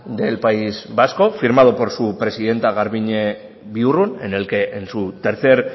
del país vasco firmado por su presidenta garbiñe biurrun en el que en su tercer